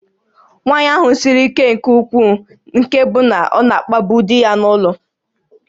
Nwaanyị ahụ siri ike nke ukwuu nke na ọ na-akpagbu di ya n'ụlọ